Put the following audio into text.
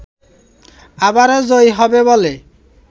আবারো জয়ী হবে বলে